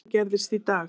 Þetta gerðist í dag.